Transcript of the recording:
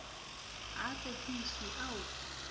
ha a tsekiswe o a